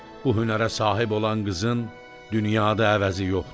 Bu hünərə sahib olan qızın dünyada əvəzi yoxdur.